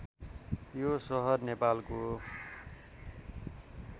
यो सहर नेपालको